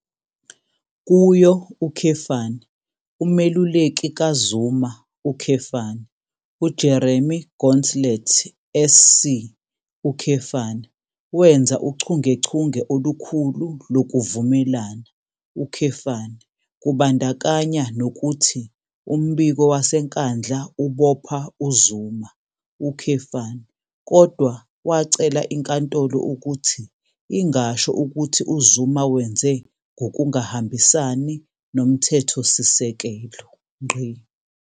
Kuyo, umeluleki kaZuma, uJeremy Gauntlett SC, wenza uchungechunge olukhulu lokuvumelana, kubandakanya nokuthi umbiko waseNkandla ubopha uZuma, kodwa wacela inkantolo ukuthi ingasho ukuthi uZuma wenze ngokungahambisani noMthethosisekelo.